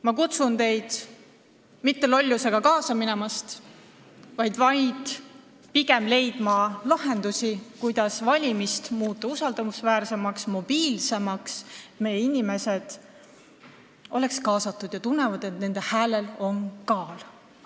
Ma kutsun teid üles lollusega mitte kaasa minema, vaid leidma lahendusi, kuidas muuta valimised usaldusväärsemaks ja mobiilsemaks, et kõik meie inimesed oleksid kaasatud ja tunneksid, et nende häälel on kaalu.